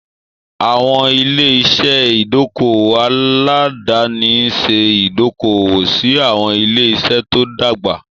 Àwọn ilé-iṣẹ́ ìdókòwò aládàáni ń ṣe ìdókòwò sí àwọn ilé-iṣẹ́ tó dàgbà.